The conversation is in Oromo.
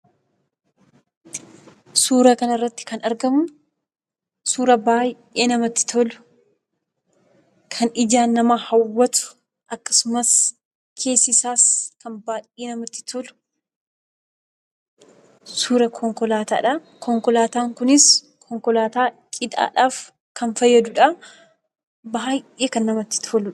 Suura kana irratti kan argamu suura baay'ee namatti tolu; kan ijaan nama hawwatu akkasumas keessi isaas kan baay'ee namatti tolu, suuraa konkolaataadha. Konkolaataan kunis cidhaaf kan fayyaduudha. Baay'ee kan namatti toludha.